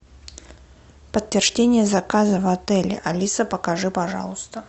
подтверждение заказа в отеле алиса покажи пожалуйста